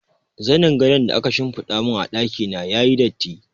Zanin gadon da aka shimfiɗa mun a ɗaki na yayi datti.